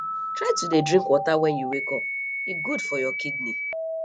try to dey drink water wen you wake up e good for your kidney